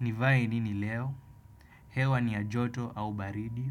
Nivae nini leo? Hewa ni ya joto au baridi?